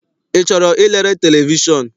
I chọrọ ilere televishọn?